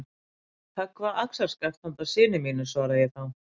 Höggva axarskaft handa syni mínum, svara ég þá.